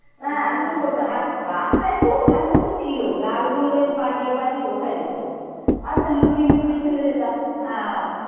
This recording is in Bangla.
হ্যাঁ উঠে পড়তাম আর গাছটা একটু ওঠার মতো ছিল ডালগুলো বেশ পা দিয়ে পা দিয়ে ওঠা যেত। আর তো লুকিয়ে লুকিয়ে চলে যেতাম আহ